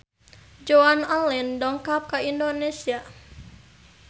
Joan Allen dongkap ka Indonesia